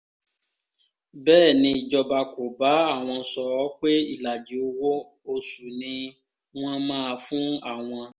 bẹ́ẹ̀ nìjọba kò bá àwọn sọ ọ́ pé ìlàjì owó-oṣù ni wọ́n máa fún àwọn